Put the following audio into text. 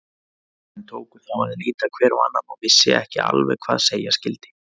Fundarmenn tóku þá að líta hver á annan og vissu ekki alveg hvað segja skyldi.